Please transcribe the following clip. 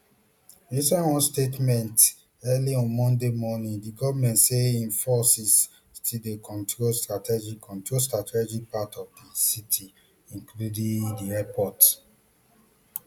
inside one statement early on monday morning di goment say im forces still dey control strategic control strategic parts of di city including di airport